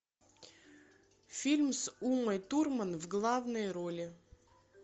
фильм с умой турман в главной роли